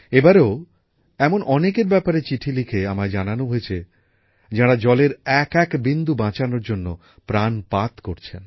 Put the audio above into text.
এবারেও এমন অনেকের ব্যাপারে চিঠি লিখে আমায় জানানো হয়েছে যাঁরা জলের এক এক বিন্দু বাঁচানোর জন্য প্রাণপাত করছেন